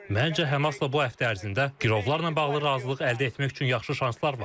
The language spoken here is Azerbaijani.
Məncə Həmasla bu həftə ərzində girovlarla bağlı razılıq əldə etmək üçün yaxşı şanslar var.